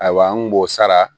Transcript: Ayiwa an kun b'o sara